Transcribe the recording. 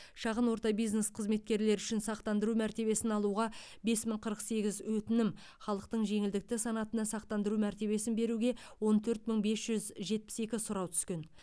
шағын орта бизнес қызметкерлері үшін сақтандыру мәртебесін алуға бес мың қырық сегіз өтінім халықтың жеңілдікті санатына сақтандыру мәртебесін беруге он төрт мың бес жүз жетпіс екі сұрау түскен